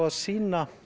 að sýna